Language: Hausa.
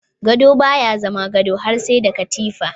Gado baya zama gado har sai da katifa.